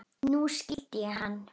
Nú skildi ég hann.